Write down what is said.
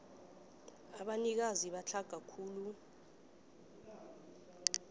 abanikazi abatlhaga khulu